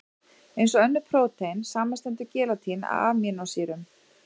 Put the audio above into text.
Eins og önnur prótein, samanstendur gelatín af amínósýrum.